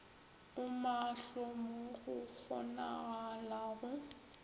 o maahlo mo go kgonagalago